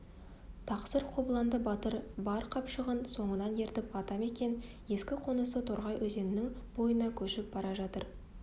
тақсыр қобыланды батыр бар қыпшағын соңынан ертіп ата мекен ескі қонысы торғай өзенінің бойына көшіп бара жатыр